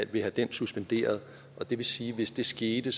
vil have den suspenderet og det vil sige at hvis det skete